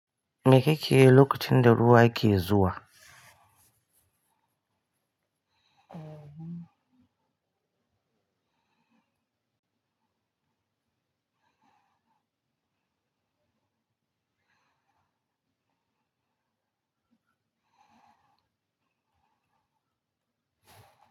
Me kike yi lokacin da ruwa yake zuwa?